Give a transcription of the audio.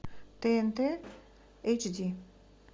тнт эйч ди